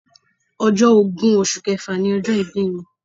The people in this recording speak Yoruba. Ọjọ́ ogún oṣù kẹfà ni ọjọ́ ìbí mi.